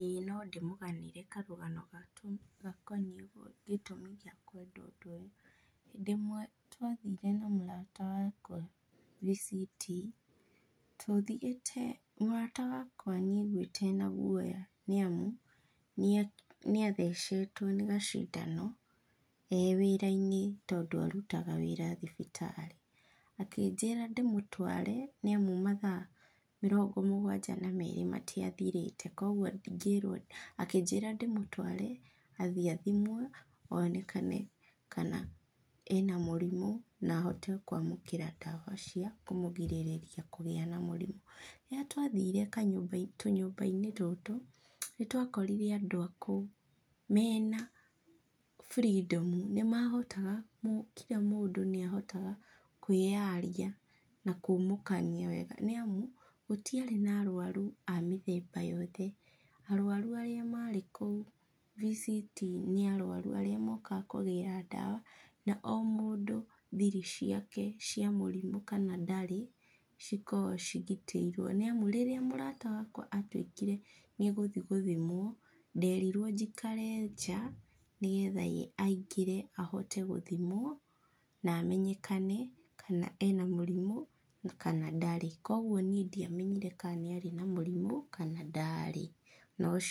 Ĩĩ no ndĩmũganĩre karũgano gakoniĩ gĩtũmi gĩa kwenda ũndũ ũyũ. Hĩndĩ ĩmwe twathire na mũrata wakwa VCT, tũthiĩte mũrata wakwa nĩ aiguĩte ena guoya nĩ amu, nĩ nĩ athecetwo nĩ gacindano e wĩra-inĩ, tondũ arutaga wĩra thibitarĩ. Akĩnjĩra ndĩmũtware, nĩ amu mathaa mĩrongo mũgwanja na merĩ matiathirĩre, koguo ngĩĩrwo, akĩnjĩra ndĩmũtware, athiĩ athimwo, onekane kana ena mũrimũ na ahote kwamũkĩra ndawa cia kũmũgirĩrĩria kũgĩa na mũrimũ. Rĩrĩa twathiire kanyũmba tũnyũmba-inĩ tũtũ, nĩ twakorire andũ a kũu, mena freedom. Nĩ mahotaga, kira mũndũ nĩ ahotaga kwĩyaria, na kumũkania wega. Nĩ amu gũtiarĩ na arũaru a mĩthemba yothe. Arũaru arĩa marĩ kũu VCT, nĩ arũaru arĩa mokaga kũgĩra ndawa, na o mũndũ thiri ciake cia mũrimũ kana ndarĩ, cikoragwo cigitĩirwo. Nĩ amu rĩrĩa mũrata wakwa atuĩkire nĩ egũthi gũthimwo, nderirwo njikare nja, nĩgetha ye aingĩre ahote gũthimwo, na amenyekane kana ena mũrimũ na kana ndarĩ. Koguo niĩ ndiamenyire ka nĩ arĩ na mũrimũ kana ndaarĩ, na ũcio...